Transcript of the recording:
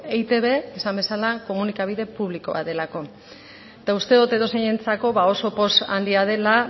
eitb esan bezala komunikabide publiko bat delako eta uste dut edozeinentzako oso poz handia dela